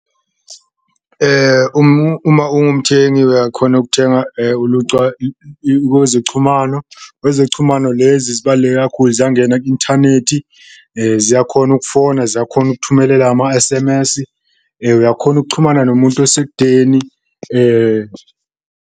Uma ungumthengi uyakhona ukuthenga kwezochumano, kwezochumano lezi zibaluleke kakhulu ziyangena ku-inthanethi, ziyakhona ukufona, ziyakhona ukuthumelela ama-S_M_S, uyakhona ukuchumana nomuntu osekudeni .